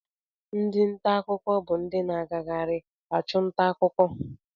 Ndi nta akụkọ bụ ndị na-agagharị achụ nta akụkọ